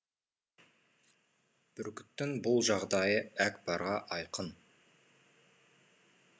бүркіттің бұл жағдайы әкпарға айқын